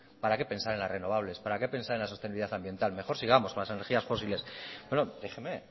para qué pensar en las renovables para qué pensar en la sostenibilidad ambiental mejor sigamos con las energías fósiles bueno déjeme